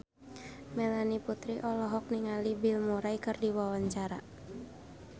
Melanie Putri olohok ningali Bill Murray keur diwawancara